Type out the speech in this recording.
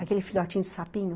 Aquele filhotinho de sapinho?